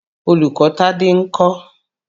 Olùkọ́ Tádé ń kọ́?